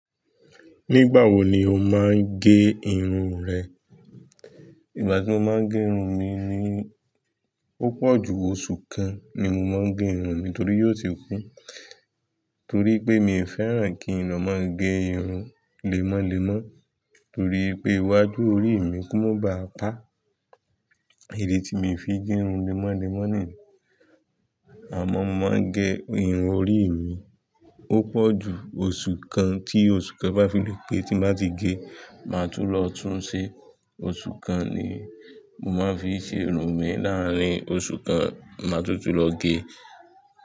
Nígbà wo ni o máa ń gẹ irun rẹ? Ìgbà tí mo máa ń gẹ irun mi ni, ó pọ̀ ju oṣù kan ni mo máa ń ge irun mi torí yóò ti kún. Torí pé mi fẹ́ràn kí n lọ mọ ń ge irun lemọ́lemọ́ torí pé iwájú orí mi kó má ba à pa. Idi tí mi fi ń ge irun lemọ́lemọ́ ni, àmọ́ mo máa ń gẹ irun orí mi, ó pọ̀ ju osu kan tí osù kan bá fi le pé tí n bá ti ge, máa tún lọ tún ṣe, oṣù kan ni mo máa ń fi ṣe irun mi. Láàárín oṣù kan má tún tún lọ ge.